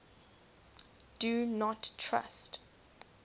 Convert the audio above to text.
do not trust